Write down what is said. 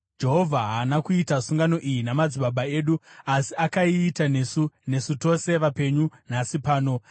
Jehovha haana kuita sungano iyi namadzibaba edu, asi akaiita nesu, nesu tose vapenyu nhasi pano.